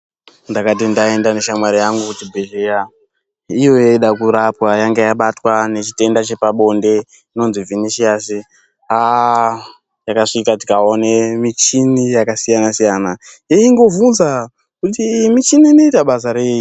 Ndakati ndaenda neshamwari yangu kuchibhedhlera, ndiyo yaida kurapwa, yanga yabatwa nechitenda chepabonde, inonzi Vhinishasi, takasvika tikaone michini yakasiyana-siyana, eingobvunza kuti iyi michini inoita basa rei.